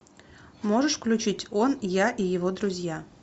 можешь включить он я и его друзья